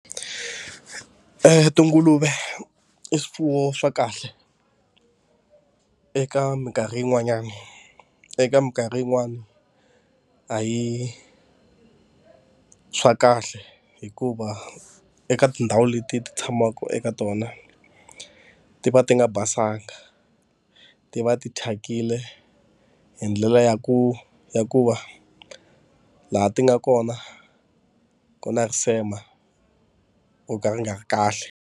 Tinguluve i swifuwo swa kahle eka mikarhi yin'wanyani, eka mikarhi yin'wani a hi swa kahle. Hikuva eka tindhawu leti ti tshamaka eka tona, ti va ti nga basanga, ti va ti thyakile hi ndlela ya ku ya ku va laha ti nga kona ku na risema ro ka ri nga ri kahle.